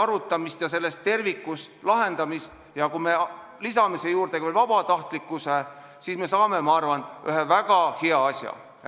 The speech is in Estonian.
Lahendus peab sündima tervikut silmas pidades ja kui me lisame siia veel ka vabatahtlikkuse, siis me saame minu arvates ühe väga hea asja.